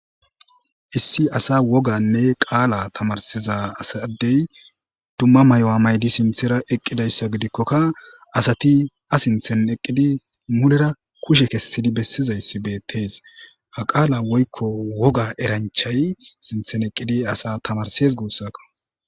Issi asa woganne qala tamarisiza Adey dumma mayuwa mayid sinthera eqidaysa gidikoka asat a sinthen Eqid mulera kushe kesid besizays betes, ha qaala woyko woga eranchay sinthen Eqid asa tamarises gusako.